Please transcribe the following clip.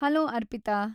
Hello, Arpita.